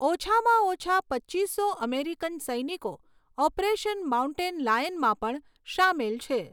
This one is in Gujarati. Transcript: ઓછામાં ઓછા પચ્ચીસો અમેરિકન સૈનિકો ઓપરેશન માઉન્ટેન લાયનમાં પણ શામેલ છે.